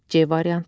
C variantı.